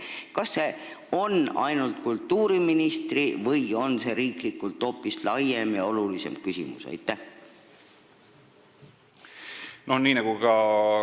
Kas see on ainult kultuuriministri mure või on see riiklikult hoopis laiem ja olulisem küsimus?